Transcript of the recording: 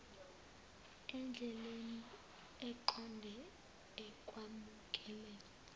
endleleni eqonde ekwamukeleni